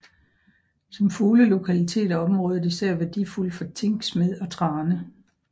Som fuglelokalitet er området især værdifuldt for tinksmed og trane